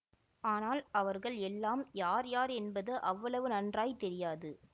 ஆனால் அவர்கள் எல்லாம் யார் யார் என்பது அவ்வளவு நன்றாய் தெரியாது